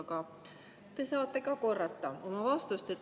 Aga te saate korrata oma vastust.